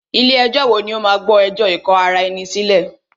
Ilé ẹ̀jọ wo ní o máà gbọ́ ẹjọ́ ikò ará ẹni sílẹ̀?